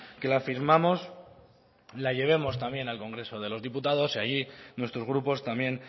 que la firmamos la llevemos también al congreso de los diputados y allí nuestros grupos también